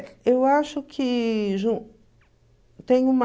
eu acho que... tem uma...